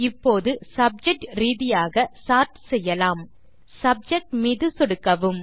இப்போது சப்ஜெக்ட் ரீதியாக சார்ட் செய்யலாம் சப்ஜெக்ட் மீது சொடுக்கவும்